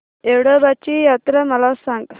येडोबाची यात्रा मला सांग